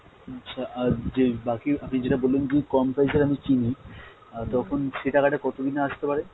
আচ্ছা আর যেই বাকি আপনি যেটা বললেন যদি কম price এর আমি কিনি আর তখন সে টাকাটা কতদিনে আসতে পারে?